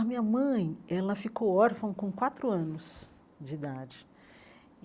A minha mãe, ela ficou órfã com quatro anos de idade.